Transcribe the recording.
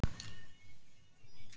Kannski reyndi maður ekki nóg.